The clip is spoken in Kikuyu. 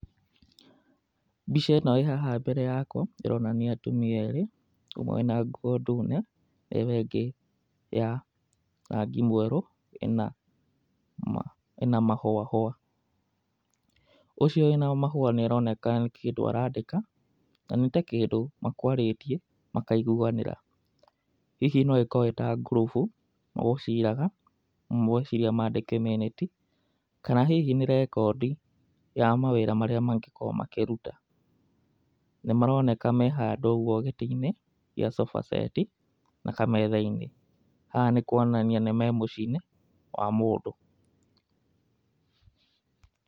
Mbica ĩno ĩ haha mbere yakwa ĩronania atumia erĩ. Ũmwe ena nguo ndune na ĩyo ĩngĩ ya rangi mwerũ, ĩna mahũa hũa. Ũcio wĩna ya mahũa nĩaronania nĩ kĩndũ arandika na nĩ ta kĩndũ makwarĩtie makaiguanĩra. Hihi no makorwo nĩ ngurubu magũciraga ũmwe eciria mandĩke mĩnĩti, kana hihi nĩ rekondi ya mawĩra marĩa mangĩkorwo makĩruta. Na maroneka me handũ ũguo gĩtĩ-inĩ gĩa sofa set na kametha-inĩ, haha nĩ kuonania marĩ mũciĩ-inĩ wa mũndũ.